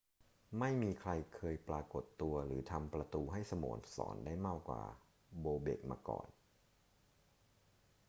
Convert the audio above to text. ไม่มีใครเคยปรากฏตัวหรือทำประตูให้สโมสรได้มากกว่าโบเบ็กมาก่อน